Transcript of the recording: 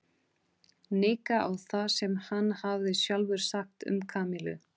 Nikka á það sem hann hafði sjálfur sagt um Kamillu.